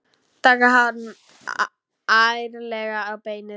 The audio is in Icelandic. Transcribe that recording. Taka hann ærlega á beinið.